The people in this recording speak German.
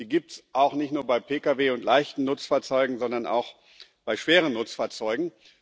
Die gibt es nicht nur bei Pkw und leichten Nutzfahrzeugen, sondern auch bei schweren Nutzfahrzeugen.